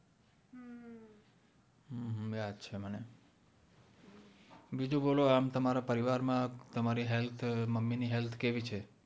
હમ્મ યાદ છે મને બીજું બોલો આમ તમારા પરિવાર માં તમારી health મમ્મી ની health કેવી છે